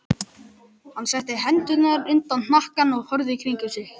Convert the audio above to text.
Hann setti hendurnar undir hnakkann og horfði í kringum sig.